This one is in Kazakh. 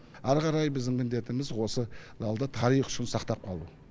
әрі қарай біздің міндетіміз осы залды тарих үшін сақтап қалу